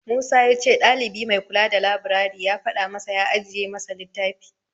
Musa ya ce ɗalibi mai kula da labirari ya faɗa masa ya ajiye masa littafi.